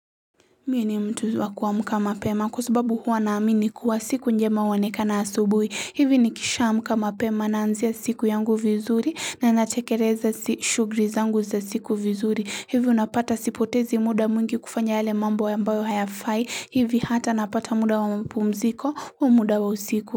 Mie ni mtu wa kuamka mapema kwa sababu huwa naamini kuwa siku njema huonekana asubihi. Hivi ni kisha amka mapema naanzia siku yangu vizuri na natekeleza si shuguli zangu za siku vizuri. Hivi unapata sipotezi muda mungi kufanya yale mambo ambayo hayafai. Hivi hata napata muda wa mapumziko wa muda wa usiku.